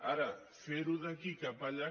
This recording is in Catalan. ara fer·ho d’aquí cap allà